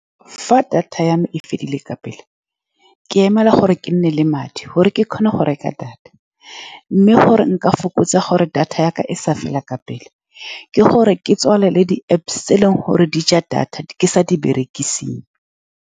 Fa data ya me e fedile ka pele ke emela gore ke nne le madi gore ke kgone go reka data, mme gore nka fokotsa gore data ya ka e sa fela ka pele, ke gore ke tswale le di-Apps tse e leng gore di ja data ke sa di berekiseng.